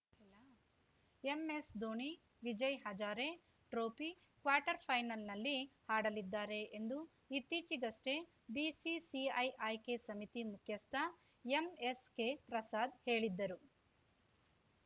MS Dhoni Vijay Hazare trophy quarter ಫೈನಲ್‌ನಲ್ಲಿ ಆಡಲಿದ್ದಾರೆ ಎಂದು ಇತ್ತೀಚಿಗಷ್ಟೇ ಬಿಸಿಸಿಐ ಆಯ್ಕೆ ಸಮಿತಿ ಮುಖ್ಯಸ್ಥ ಎಂಎಸ್‌ಕೆಪ್ರಸಾದ್‌ ಹೇಳಿದ್ದರು